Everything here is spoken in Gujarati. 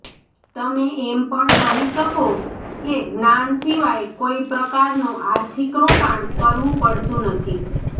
તમે એમ પણ કહી શકો કે જ્ઞાન સિવાય કોઇ પ્રકારનું આર્થિક રોકાણ કરવું પડતું નથી